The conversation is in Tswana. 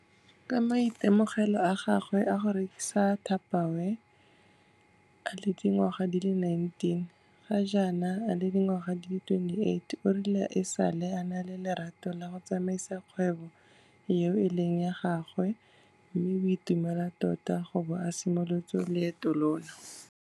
Ka maitemogelo a gagwe a go rekisa Tupperware a le dingwaga di le 19, ga jaana a le dingwaga di le 28 o rile e sale a na le lerato la go tsamaisa kgwebo eo e leng ya gagwe mme o itumela tota go bo a simolotse loeto lono.